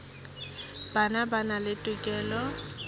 bona ba na le tokelo